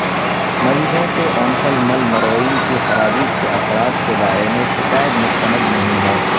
مریضوں سے اونٹلملمروئن کی خرابی کے اثرات کے بارے میں شکایت مستند نہیں ہے